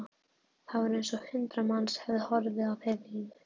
Það var eins og hundrað manns hefðu horfið af heimilinu.